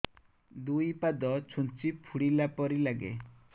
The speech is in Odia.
ଦୁଇ ପାଦ ଛୁଞ୍ଚି ଫୁଡିଲା ପରି ଲାଗେ